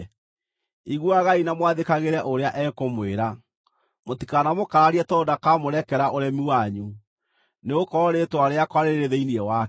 Iguagai na mwathĩkagĩre ũrĩa ekũmwĩra. Mũtikanamũkararie tondũ ndakamũrekera ũremi wanyu, nĩgũkorwo Rĩĩtwa rĩakwa rĩrĩ thĩinĩ wake.